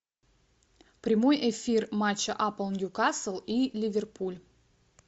прямой эфир матча апл ньюкасл и ливерпуль